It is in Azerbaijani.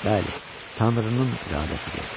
Bəli, Tanrının iradəsidir.